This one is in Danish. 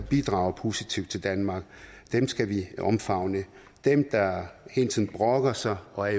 bidrager positivt til danmark dem skal vi omfavne dem der hele tiden brokker sig og er